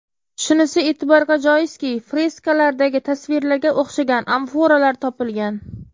Shunisi e’tiborga joizki, freskalardagi tasvirlarga o‘xshagan amforalar topilgan.